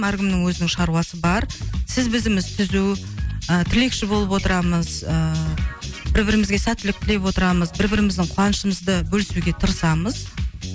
әркімнің өзінің шаруасы бар сіз бізіміз түзу ы тілекші болып отырамыз ыыы бір бірімізге сәттілік тілеп отырамыз бір біріміздің қуанашымызды бөлісуге тырысамыз